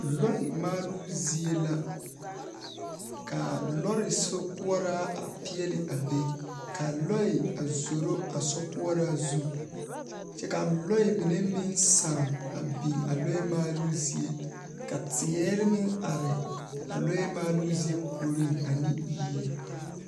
Lɔɛ maaloo zie la, ka lɔre sokoɔraa a peɛle a be ka lɔɛ a zoro a sokoɔraa zu, kyɛ lɔɛ mine meŋ sãã a biŋ lɔɛ maaloo zie. Ka teere meŋ are a lɔɛ maaloo zie puoriŋ ane yie.